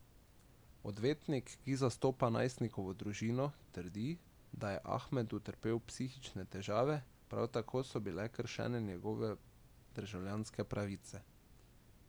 Odvetnik, ki zastopa najstnikovo družino, trdi, da je Ahmed utrpel psihične težave, prav tako so bile kršene njegove državljanske pravice.